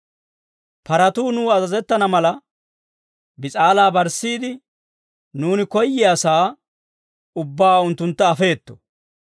Paratuu nuw azazettana mala, bis'aalaa barssiide, nuuni koyyiyaasaa ubbaa unttuntta afeetto.